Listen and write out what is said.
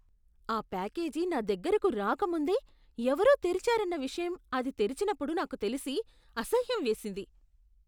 ఆ ప్యాకేజీ నా దగ్గరకు రాకముందే ఎవరో తెరిచారన్న విషయం అది తెరిచినప్పుడు నాకు తెలిసి, అసహ్యం వేసింది.